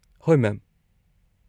-ꯍꯣꯏ, ꯃꯦꯝ ꯫